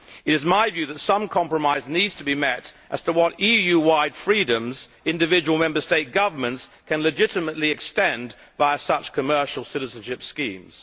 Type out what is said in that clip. It is my view that some compromise needs to be reached as to what EU wide freedoms individual Member State governments can legitimately extend via such commercial citizenship schemes.